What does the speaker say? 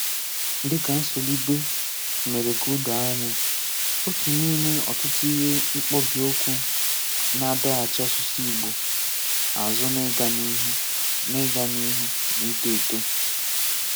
Dịka Nsolibe mere ka o doo anya, otu n’ime ọtụtụ ihe mkpobịukwu na-adọghachi asụsụ Ị̀gbò azụ n’ịga n’ihu, n’ịga n’ihu, n’ịtọ eto.